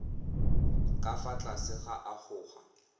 ka fa tlase ga agoa